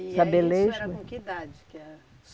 saber ler e escrever. E eh isso era com que idade que era?